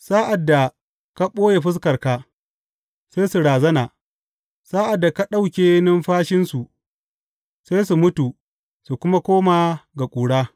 Sa’ad da ka ɓoye fuskarka, sai su razana; sa’ad da ka ɗauke numfashinsu, sai su mutu su kuma koma ga ƙura.